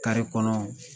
kɔnɔ